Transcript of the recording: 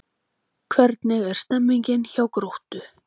Hvernig er stemningin hjá Gróttu?